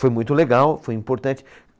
Foi muito legal, foi importante.